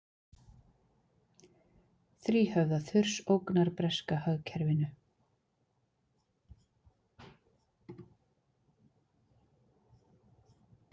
Þríhöfða þurs ógnar breska hagkerfinu